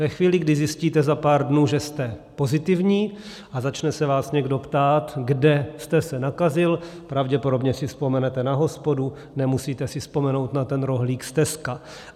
Ve chvíli, kdy zjistíte za pár dnů, že jste pozitivní a začne se vás někdo ptát, kde jste se nakazil, pravděpodobně si vzpomenete na hospodu, nemusíte si vzpomenout na ten rohlík z Tesca.